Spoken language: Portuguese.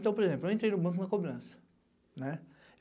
Então, por exemplo, eu entrei no banco na cobrança.